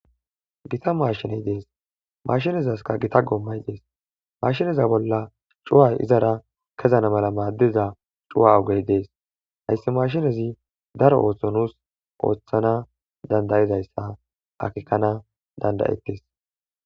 Gita maashiney dees hamaashinezaskka gita goommay dees.maashineza bolla cuu7ay izara kezana mala maaddiza cuu7a ogey dees hayssa maashinezi daro ootho nuus oothana danda7izayssa akeekana dandda7ettees.